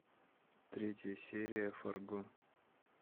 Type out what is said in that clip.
третья серия фарго